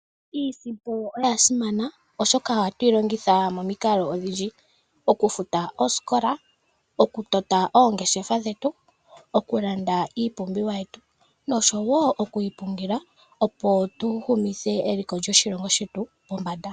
Iisimpo oyasimana oshoka ohatuyilongitha momikalo odhindji, okufuta oosikola, okutota oongeshefa dhetu, okulanda iipumbiwa yetu, noshowo okuyi pungula opo tuhumithe eliko lyoshilongo shetu pombanda.